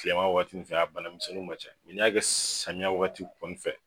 Kilema waati nu fɛ a banamisɛnni ma ca mɛ n'i y'a kɛ samiya wagati kɔni fɛ